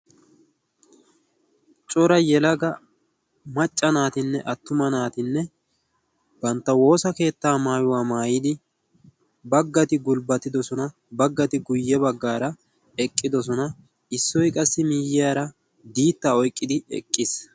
cora yelaga macca naatinne attuma naatinne bantta woosa keettaa maayuwaa maayidi baggati gulbbatidosona baggati guyye baggaara eqqidosona. issoi qassi miiyyiyaara diittaa oiqqidi eqqiis.